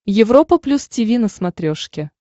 европа плюс тиви на смотрешке